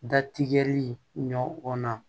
Da tigɛli ɲɔn na